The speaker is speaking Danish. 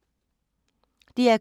DR K